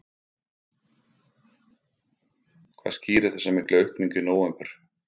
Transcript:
Hvað skýrir þessa miklu aukningu í nóvember?